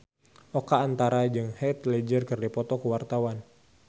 Oka Antara jeung Heath Ledger keur dipoto ku wartawan